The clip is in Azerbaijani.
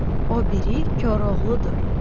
o biri Koroğludur.